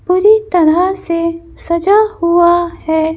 पूरी तरह से सजा हुआ है।